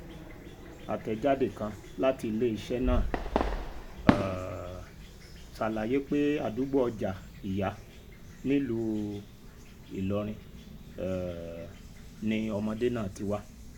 àtẹ̀jáde kan láti iléeṣẹ́ náà um ṣàlàyé pé àdúgbò ọjà ìyá nílùú ìlọrin um ni ọmọdé náà ti wá